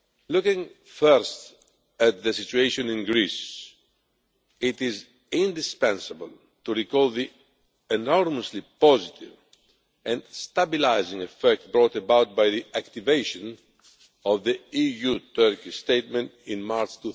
Looking first at the situation in Greece, it is indispensable to recall the enormously positive and stabilising effect brought about by the activation of the EU-Turkey Statement in March